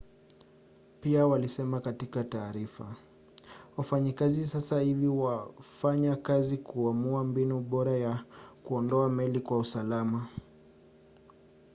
pia walisema katika taarifa wafanyakazi sasa hivi wanafanya kazi kuamua mbinu bora ya kuondoa meli kwa usalama